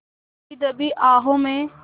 दबी दबी आहों में